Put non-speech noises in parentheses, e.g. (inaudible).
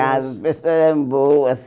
(unintelligible) As pessoas eram boas.